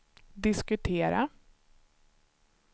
diskutera